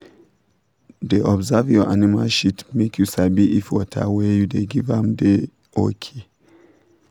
da observe your animal shit make you sabi if water wey you da give dem da okay